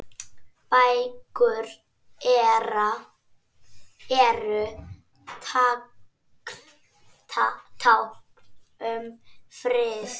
Bækur eru tákn um frið